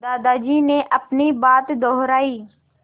दादाजी ने अपनी बात दोहराई